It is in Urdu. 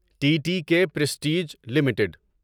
T T K Prestige limited